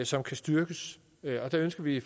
som kan styrkes og der ønsker vi